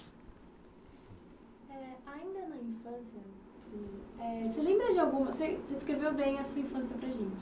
Eh ainda na infância, eh você lembra de alguma... Você descreveu bem a sua infância para a gente.